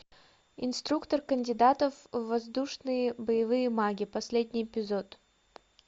инструктор кандидатов в воздушные боевые маги последний эпизод